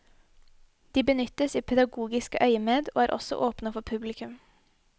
De benyttes i pedagogisk øyemed og er også åpne for publikum.